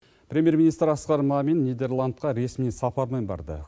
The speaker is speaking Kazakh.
премьер министр асқар мамин нидерландқа ресми сапармен барды